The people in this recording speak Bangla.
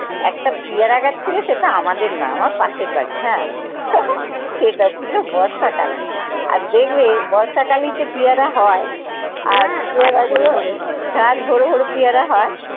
একটা পিয়ারা গাছ ছিল সেটা আমাদের না আমার পাশের বাড়ি হ্যাঁ, সেটা ছিল বর্ষাকাল। আর দেখবে বর্ষাকালেই তো পিয়ারা হয় আর এর আগেই হয় গাছ ভরে ভরে পেয়ারা হয়।